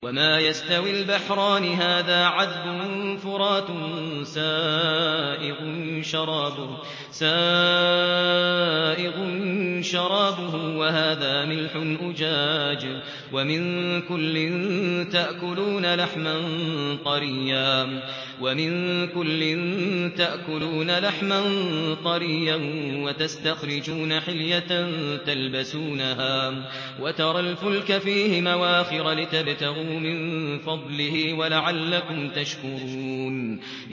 وَمَا يَسْتَوِي الْبَحْرَانِ هَٰذَا عَذْبٌ فُرَاتٌ سَائِغٌ شَرَابُهُ وَهَٰذَا مِلْحٌ أُجَاجٌ ۖ وَمِن كُلٍّ تَأْكُلُونَ لَحْمًا طَرِيًّا وَتَسْتَخْرِجُونَ حِلْيَةً تَلْبَسُونَهَا ۖ وَتَرَى الْفُلْكَ فِيهِ مَوَاخِرَ لِتَبْتَغُوا مِن فَضْلِهِ وَلَعَلَّكُمْ تَشْكُرُونَ